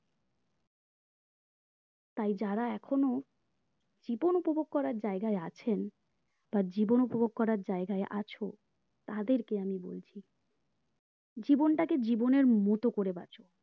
তাই যারা এখনো জীবন উপভোগ করার জায়গায় আছেন বা জীবন উপভোগ করার জায়গায় আছো তাদেরকে আমি বলছি জীবনটাকে জীবনের মতো করে বাঁচো